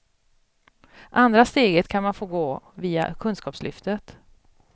Andra steget kan man få gå via kunskapslyftet.